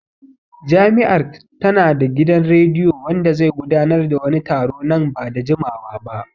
Jami'ar ta na da gidan rediyo wanda zai gudanar da wani taro nan ba da jimawa ba